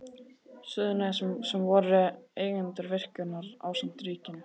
Suðurnesjum sem voru eigendur virkjunarinnar ásamt ríkinu.